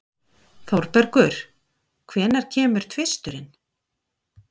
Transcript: Þórbergur, hvenær kemur tvisturinn?